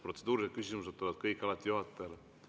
Protseduurilised küsimused tulevad kõik alati juhatajale.